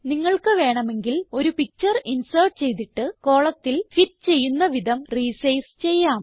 നിങ്ങൾക്ക് വേണമെങ്കിൽ ഒരു പിക്ചർ ഇൻസേർട്ട് ചെയ്തിട്ട് കോളം ഫിറ്റ് ചെയ്യുന്ന വിധം റിസൈസ് ചെയ്യാം